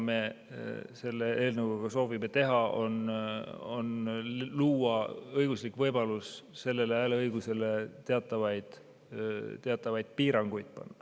Selle eelnõuga me soovime luua õigusliku võimaluse seada sellele hääleõigusele teatavaid piiranguid.